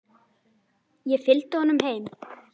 Ég fylgdi honum heim.